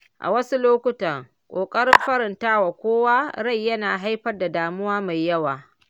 A wasu lokuta, ƙoƙarin faranta wa kowa rai yana haifar da damuwa mai yawa.